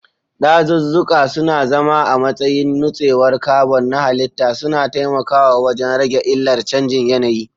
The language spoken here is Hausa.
Dazuzzuka suna zama a matsayin nutsewar carbon na halitta, suna taimakawa wajen rage illar canjin yanayi.